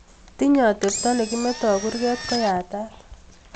Tinyei atepto ne kimetoi kurket ko yatat